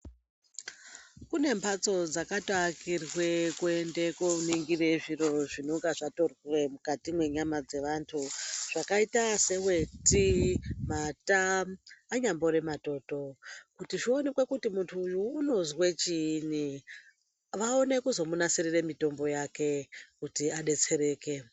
Kune mhatso dzakatoakirwe kuende kooningirwe zviro zvinengezvatorwa mukati mwenyama dzevantu zvakaita seweti, mata anyambori matoto kuti zvionekwe kuti munhu uyu unozwe chiini kuti vaone kumunasirira mitombo yake kuti adetsereke.